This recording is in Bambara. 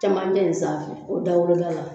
Camancɛ nin sanfɛ o dawolo da la.